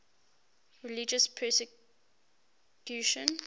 religious persecution